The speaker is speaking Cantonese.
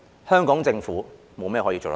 香港政府沒有甚麼可以做得到。